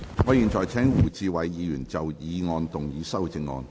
我現在請胡志偉議員就議案動議修正案。